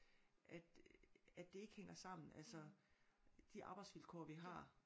At at det ikke hænger sammen altså. De arbejdsvilkår vi har